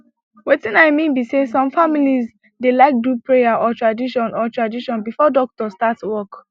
wetin i mean be say some families dey like do prayer or tradition or tradition before doctor start work